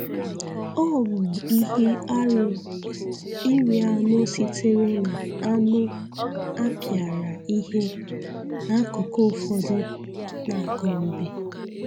Ọ bụ ihe arụ iri anụ sitere n'anụ a pịara ihe n'akụkụ ụfọdụ na Gombe.